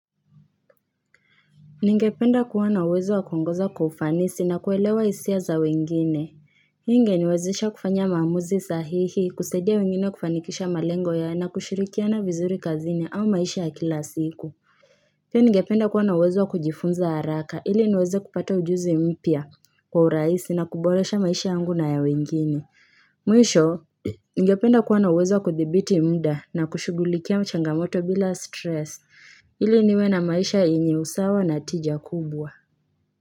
Ningependa kuwa na uwezo wa kuongoza kwa ufanisi na kuelewa hisia za wengine Hii ingeniwezesha kufanya maamuzi sahihi kusaidia wengine kufanikisha malengo yao na kushirikiana vizuri kazini au maisha ya kila siku. Pia ningependa kuwa na uwezo wa kujifunza haraka ili niweze kupata ujuzi mpya kwa urahisi na kuboresha maisha yangu na ya wengine Mwisho ningependa kuwa na uwezo wa kuthibiti mda na kushughulikia changamoto bila stress ili niwe na maisha yenye usawa na tija kubwa.